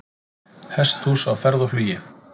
Hesthús á ferð og flugi